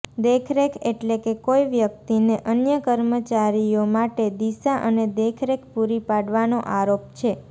દેખરેખ એટલે કે કોઈ વ્યક્તિને અન્ય કર્મચારીઓ માટે દિશા અને દેખરેખ પૂરી પાડવાનો આરોપ છે